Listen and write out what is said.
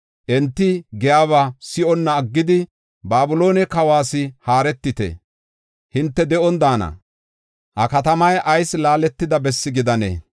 Enti giyaba si7onna aggidi, Babiloone kawas haaretite; hinte de7on daana. Ha katamay ayis laaletida bessi gidanee?